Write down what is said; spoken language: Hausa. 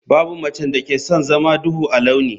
Babu macen da ke son zama duhu a launi.